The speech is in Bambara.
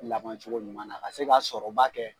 Laban cogo ɲuman na ka se ka sɔrɔba kɛ.